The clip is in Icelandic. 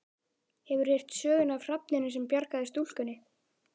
Hefurðu heyrt söguna af hrafninum sem bjargaði stúlkunni?